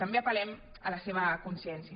també apel·lem a la seva consciència